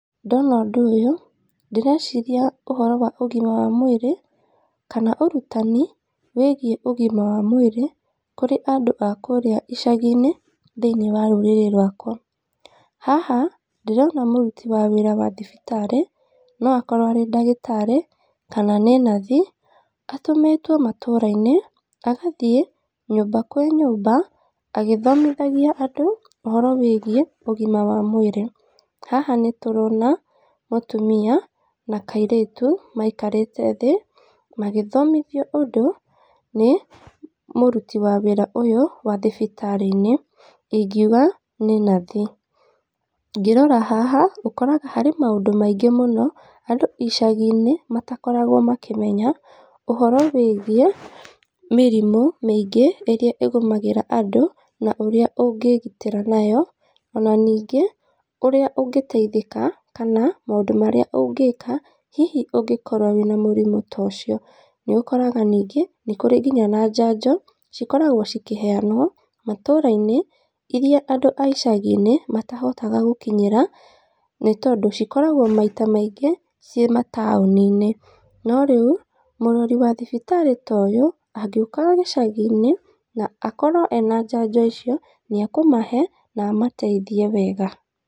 Ndona ũndũ ũyũ, ndĩreciria ũhoro wa ũgima wa mwĩrĩ kana ũrutani wĩgiĩ ũgima wa mwĩrĩ kũrĩ andũ a kũrĩa icagi-ini thĩiniĩ wa rũrĩrĩ rũakwa. Haha ndĩrona mũruti wa wĩra wa thibitarĩ, no akorwo arĩ ndagĩtarĩ, kana nĩ nathi. Atũmĩtwo matũra-inĩ agathiĩ nyũmba kwa nyũmba agĩthomithagia andũ ũhoro wĩgiĩ ũgima wa mwĩrĩ. Haha nĩ tũrona mũtumia na kairĩtu maikarĩte thĩ magĩthomithio ũndũ nĩ mũruti wa wĩra ũyũ wa thibitarĩinĩ. Ĩngiuga nĩ nathi. Ngĩrora haha ũkoraga harĩ maũndũ maingĩ mũno andũ icagiinĩ matakoragwo makĩmenya ũhoro wĩgiĩ mĩrĩmũ mĩingĩ ĩrĩa ĩgũmagĩra andũ na ũrĩa ũngĩgitĩra nayo. Ona ningĩ ũrĩa ungĩteithĩka kana maũndũ marĩa ũngĩka hihi ũngikorwo wĩna mũrimũ ta ũcio. Nĩũkoraga ningĩ nĩ kũrĩ nginya na njanjo cikoragwo cikĩheanwo matũũrainĩ. Ĩria andũ a icagi-inĩ matahotaga gũkinyĩra nĩ tondũ cikoragwo maita maingĩ ci mataũni-inĩ. No rĩu, mũrori wa thibitarĩ ta ũyũ, angĩũkaga gĩcagi-inĩ na akorwo ena njanjo icio, nĩ ekũmahe na amateithie wega.